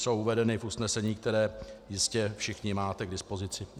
Jsou uvedeny v usnesení, které jistě všichni máte k dispozici.